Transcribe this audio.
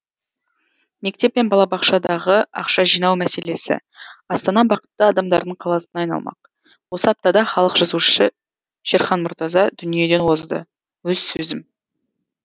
мектеп пен балабақшадағы ақша жинау мәселесі астана бақытты адамдардың қаласына айналмақ осы аптада халық жазушысы шерхан мұртаза дүниеден озды өз сөзім